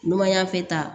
Numanyanfe ta